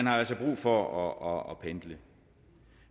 har altså brug for at pendle